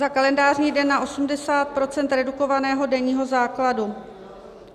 - za kalendářní den na 80 % redukovaného denního základu;